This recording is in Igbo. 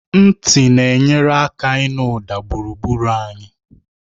Ntị na-enyere aka ịnụ ụda gburugburu anyị